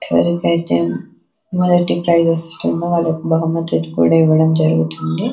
ఎవరికైతే మొదటి ప్రైస్ వచ్చిందో వాళ్లకి బహుమతి కూడా ఇవ్వడం జరుగుతుంది.